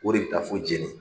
O de be taa fo Djéné.